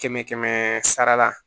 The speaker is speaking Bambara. Kɛmɛ kɛmɛ sara la